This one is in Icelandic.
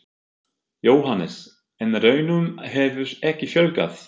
Jóhannes: En ránum hefur ekki fjölgað?